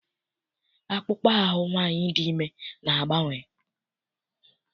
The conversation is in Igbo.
Akpụkpọ ahụ nwaanyị dị ime na-agbanwe.